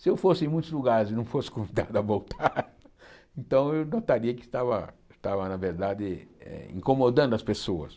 Se eu fosse em muitos lugares e não fosse convidado a voltar, então eu notaria que estava, estava na verdade, eh incomodando as pessoas.